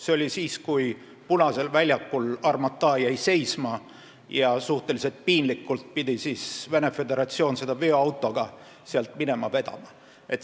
See oli siis, kui Armata jäi Punasel väljakul seisma ja Venemaa Föderatsioon pidi selle suhteliselt piinlikult sealt veoautoga minema vedama.